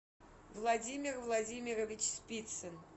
владимир владимирович спицын